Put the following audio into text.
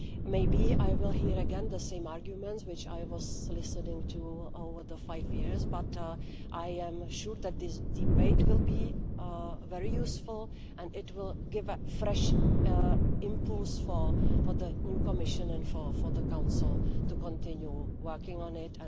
Maybe I will hear again the same arguments which I was listening to over the five years, but I am sure that this debate will be very useful and it will give fresh impulse for the new Commission and for the Council to continue working on it.